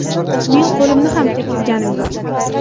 Men qo‘limni ham tekkizganim yo‘q.